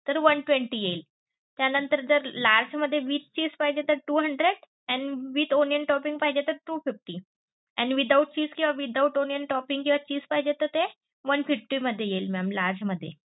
तर one twenty येईल त्या नंतर जर large मध्ये with चीज पाहिजे तर two hundred and with onion toping पाहिजे तर two fifty and without cheese किंवा without onion toping किंवा चीज पाहिजे तर ते one fifty मध्ये येईल mamlarge मध्ये.